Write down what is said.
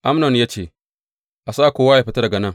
Amnon ya ce, A sa kowa yă fita daga nan.